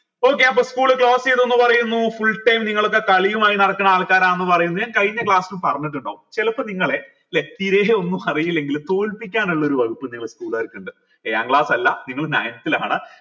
okay അപ്പൊ school close ചെയ്തു എന്ന് പറയുന്നു full time നിങ്ങളൊക്കെ കളിയുമായി നടക്കണ ആൾക്കാരാന്ന് പറയുന്നു ഞാൻ കഴിഞ്ഞ class ൽ പറഞ്ഞിട്ടുണ്ടോ ചെലപ്പോ നിങ്ങളെ ല്ലെ തീരെയൊന്നും അറിയില്ലെങ്കിലും തോൽപ്പിക്കാനുള്ള ഒരു വകുപ്പ് നിങ്ങളെ school കർക്കുണ്ട് ഏഴാം class അല്ല നിങ്ങൾ ninth ലാണ്